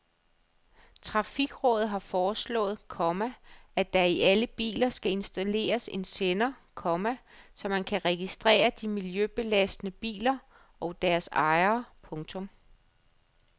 Trafikrådet har foreslået, komma at der i alle biler skal installeres en sender, komma så man kan registrere de miljøbelastende biler og deres ejere. punktum